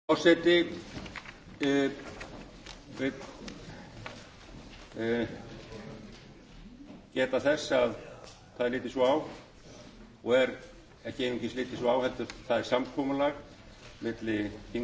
forseti vill geta þess að það er litið svo á og er ekki einungis litið svo á heldur er það samkomulag á milli þingflokk að